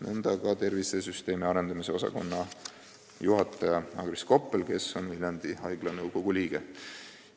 See käib ka tervisesüsteemi arendamise osakonna juhataja Agris Koppeli kohta, kes on Viljandi Haigla nõukogu liige.